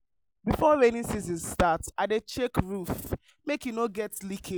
before rainy season start i dey check roof make e no get leakage.